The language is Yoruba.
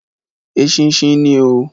Eṣinṣin ni oo.